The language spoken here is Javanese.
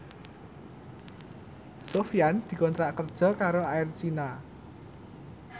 Sofyan dikontrak kerja karo Air China